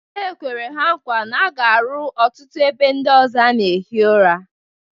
E kwere ha nkwa na a ga-aru ọtụtụ ebe ndị ọzọ a na-ehi ụra.